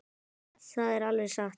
Það er alveg satt.